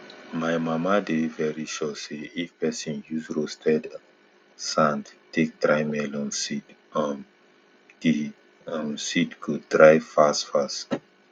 my mama dey very sure say if pesin use roasted sand take dry melon seed um di um seed go dry fast fast